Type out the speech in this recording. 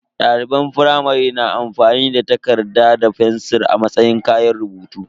Daliban firamare na amfani da takarda da fensir a matsayin kayan rubutu.